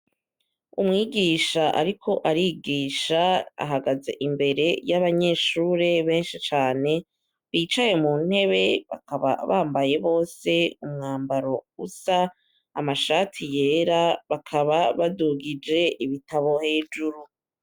Umwigisha ariko arigisha, ahagaze imbere y'abanyeshure benshi cane, bicaye mu ntebe bakaba bambaye bose umwambaro usa, amashati yera, bakaba badugije ibitabo hejuru.